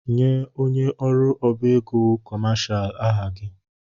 Nye onye ọrụ ọbá égo kọmashal aha gị!